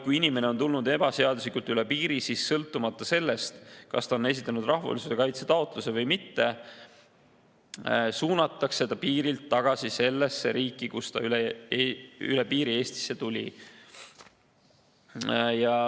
Kui inimene on tulnud ebaseaduslikult üle piiri, siis sõltumata sellest, kas ta on esitanud rahvusvahelise kaitse taotluse või mitte, suunatakse ta piirilt tagasi sellesse riiki, kust ta üle piiri Eestisse tuli.